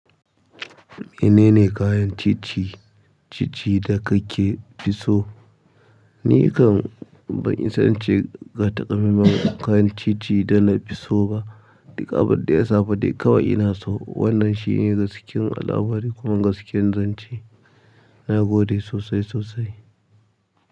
Minene kayan titi cici da kafi so? Nikan ban isa ince ga taka maimai kayan cici da na fi so ba. Duka abinda ya samu dai kawai ina so. Wannan shine gaskiya al'amari kuma gaskiyar zance. Na gode sosai sosai.